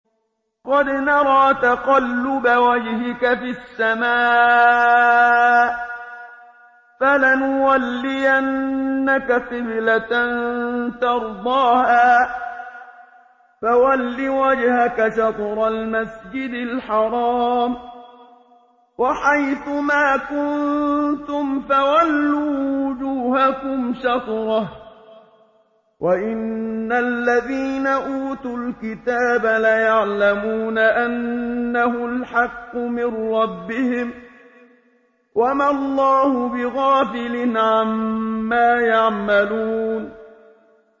قَدْ نَرَىٰ تَقَلُّبَ وَجْهِكَ فِي السَّمَاءِ ۖ فَلَنُوَلِّيَنَّكَ قِبْلَةً تَرْضَاهَا ۚ فَوَلِّ وَجْهَكَ شَطْرَ الْمَسْجِدِ الْحَرَامِ ۚ وَحَيْثُ مَا كُنتُمْ فَوَلُّوا وُجُوهَكُمْ شَطْرَهُ ۗ وَإِنَّ الَّذِينَ أُوتُوا الْكِتَابَ لَيَعْلَمُونَ أَنَّهُ الْحَقُّ مِن رَّبِّهِمْ ۗ وَمَا اللَّهُ بِغَافِلٍ عَمَّا يَعْمَلُونَ